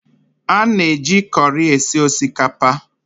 A na-eji kọri esi osikapa